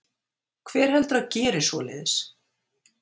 Hver heldurðu að geri svoleiðis?